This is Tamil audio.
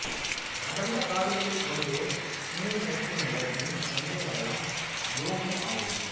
அடர்ந்த காடுகளைக் கொண்ட கினி மேட்டு நிலத்தின் சந்தை நகரம் யோமூ ஆகும்